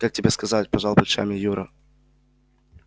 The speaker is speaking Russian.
как тебе сказать пожал плечами юра